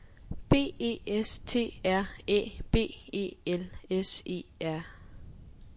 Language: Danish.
B E S T R Æ B E L S E R